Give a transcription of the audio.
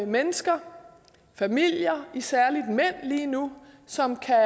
mennesker familier særlig mænd lige nu som kan